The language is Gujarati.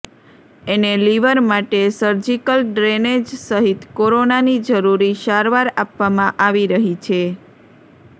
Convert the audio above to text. એને લીવર માટે સરજીકલ ડ્રેનેજ સહિત કોરોનાની જરૂરી સારવાર આપવામાં આવી રહી છે